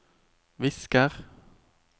visker